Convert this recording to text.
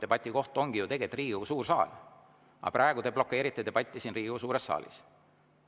Debati koht ongi ju tegelikult Riigikogu suur saal, aga praegu te blokeerite debatti siin Riigikogu suures saalis.